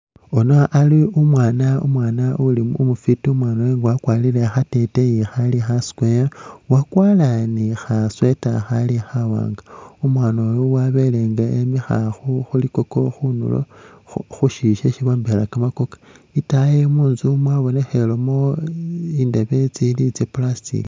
Yuno ali umwaana uli umufwiti, umwaana uyu wakwarire khateteyi khali kha Square, wakwara ni kha sweater khali khawaanga. Umwaana uyu wabele nga emikha khu khulikoko khunulo khu syiyu syesi bombekhela kamakoko. Itaayi munzu mwabonekhelemu indebe tsili tsya plastic.